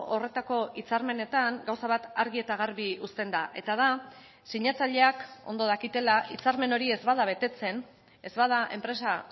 horretako hitzarmenetan gauza bat argi eta garbi uzten da eta da sinatzaileak ondo dakitela hitzarmen hori ez bada betetzen ez bada enpresa